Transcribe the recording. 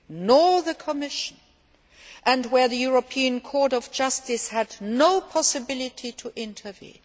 nor the Commission, and where the European Court of Justice had no possibility to intervene.